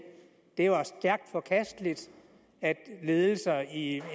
det var stærkt forkasteligt at ledelser i